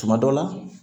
Tuma dɔ la